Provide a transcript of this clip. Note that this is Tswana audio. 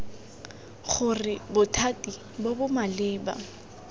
gore bothati bo bo maleba